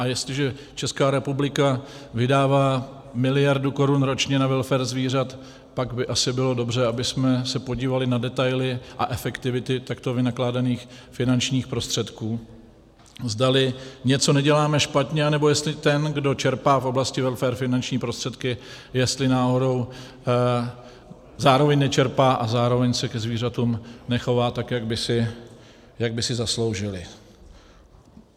A jestliže Česká republika vydává miliardu korun ročně na welfare zvířat, pak by asi bylo dobře, abychom se podívali na detaily a efektivitu takto vynakládaných finančních prostředků, zdali něco neděláme špatně, anebo jestli ten, kdo čerpá v oblasti welfaru finanční prostředky, jestli náhodou zároveň nečerpá a zároveň se ke zvířatům nechová tak, jak by si zasloužila.